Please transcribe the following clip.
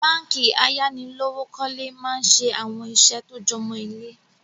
Báànkì ayánilówókọ̀lé máa ń ṣe àwọn ìṣe tó jọmó ilé